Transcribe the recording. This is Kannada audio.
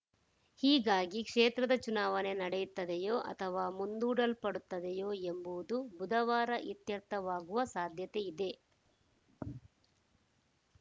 ಹೀಗಾಗಿ ಕ್ಷೇತ್ರದ ಚುನಾವಣೆ ನಡೆಯುತ್ತದೆಯೋ ಅಥವಾ ಮುಂದೂಲ್ಪಡುತ್ತದೆಯೋ ಎಂಬುದು ಬುಧವಾರ ಇತ್ಯರ್ಥವಾಗುವ ಸಾಧ್ಯತೆಯಿದೆ